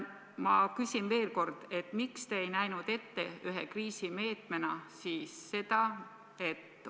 Ma küsin veel kord, miks te ei näinud ette ühe kriisimeetmena seda, et hooldekodukoha ja pensioni vahe oleks kinni maksnud riik või see raha oleks tulnud omavalitsustele riigilt.